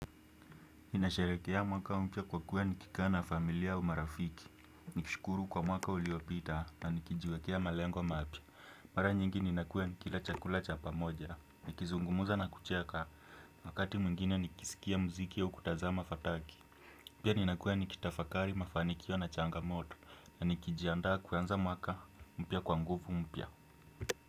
Ninasharekea mwaka mpya kwa kuwa nikikaa na familia au marafiki. Nikishukuru kwa mwaka uliopita na nikijiwekea malengo mapya. Mara nyingi ninakua nikila chakula cha pamoja. Nikizungumuza na kucheka wakati mwingine nikisikia mziki au kutazama fataki. Pia ninakuwa nikitafakari mafanikio na changamoto. Na nikijiandaa kuanza mwaka mpya kwa nguvu mpya.